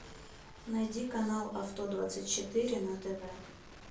найди канал авто двадцать четыре на тв